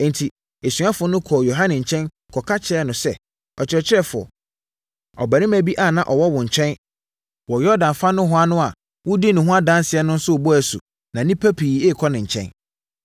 Enti, asuafoɔ no kɔɔ Yohane nkyɛn kɔka kyerɛɛ no sɛ, “Ɔkyerɛkyerɛfoɔ, ɔbarima bi a na ɔwɔ wo nkyɛn wɔ Yordan fa nohoa no a wodii ne ho adanseɛ no nso rebɔ asu na nnipa pii rekɔ ne nkyɛn.”